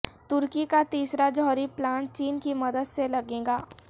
ترکی کا تیسرا جوہری پلانٹ چین کی مدد سے لگے گا